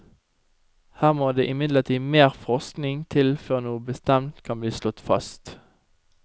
Her må det imidlertid mer forskning til før noe bestemt kan bli slått fast.